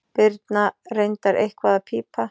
Birna reyndar eitthvað að pípa.